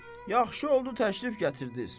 Yaxşı oldu təşrif gətirdiniz.